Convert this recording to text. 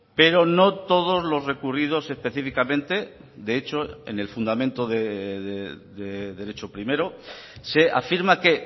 pero no todos los recurridos específicamente de hecho en el fundamento de derecho primero se afirma que